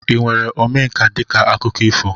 ị were Omenka dịka akụkọ ifo?